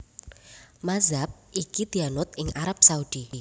Mazhab iki dianut ing Arab Saudi